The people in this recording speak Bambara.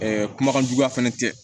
kumakan juguya fɛnɛ tɛ